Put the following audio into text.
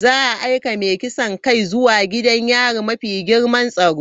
Za a aika mai kisan kai zuwa gidan yari mafi girman tsaro.